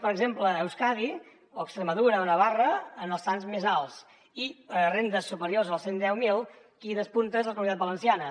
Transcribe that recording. per exemple euskadi o extremadura o navarra en els trams més alts i per a rendes superiors als cent i deu mil qui despunta és la comunitat valenciana